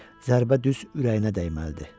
Zərbə düz ürəyinə dəyməlidir.